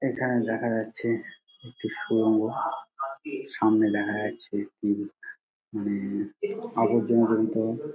এখানে দেখা যাচ্ছে একটি সুড়ঙ্গ সামনে দেখা যাচ্ছে মানে উমম আবর্জনা জনিত --